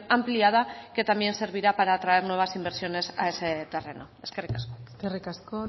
ampliada que también servirá para traer nuevas inversiones a ese terreno eskerrik asko eskerrik asko